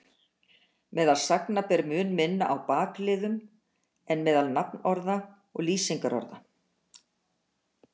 Meðal sagna ber mun minna á bakliðum en meðal nafnorða og lýsingarorða.